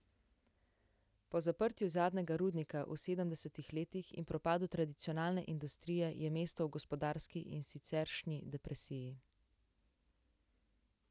Po zaprtju zadnjega rudnika v sedemdesetih letih in propadu tradicionalne industrije je mesto v gospodarski in siceršnji depresiji.